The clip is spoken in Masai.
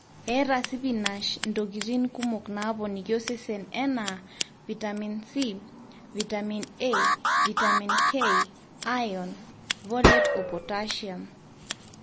eeta sipinash ntokitin kumok naaponiki osesen enaa vitamin C, vitamin A, vitamin K, iron, folate o potassium